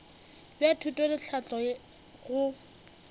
bja thuto le tlhahlo go